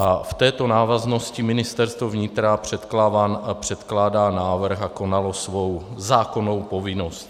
A v této návaznosti Ministerstvo vnitra předkládá návrh a konalo svou zákonnou povinnost.